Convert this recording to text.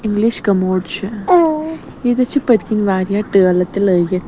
English commode .چھ ییٚتٮ۪تھ چھ پٔتۍکِنۍواریاہ ٹٲلہٕ تہِ لٲگِتھ